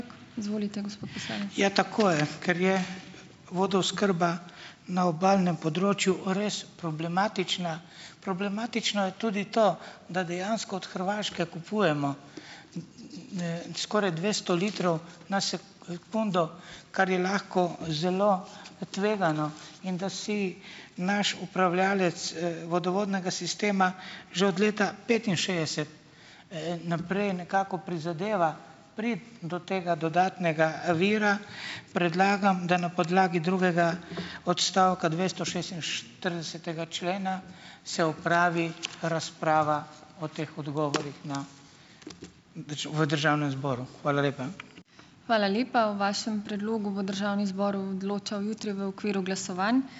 Ja, tako je, ker je vodooskrba na obalnem področju res problematična. Problematično je tudi to, da dejansko od Hrvaške kupujemo, skoraj dvesto litrov na undo, kar je lahko zelo tvegano in da si naš upravljavec, vodovodnega sistema že od leta petinšestdeset, naprej nekako prizadeva priti do tega dodatnega, vira predlagam, da na podlagi drugega odstavka dvestošestinštiridesetega člena se opravi razprava o teh odgovorih na v državnem zboru. Hvala lepa.